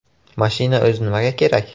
Mashina o‘zi nimaga kerak?